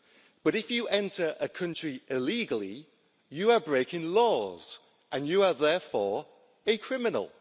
But if you enter a country illegally, you are breaking laws and you are therefore a criminal.